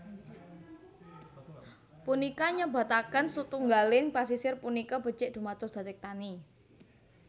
Punika nyebataken setunggaling pasisir punika becik dumados daktekani